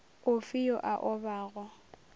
o fe yo a obago